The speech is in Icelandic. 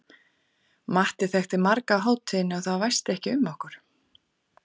Matti þekkti marga á hátíðinni og það væsti ekki um okkur.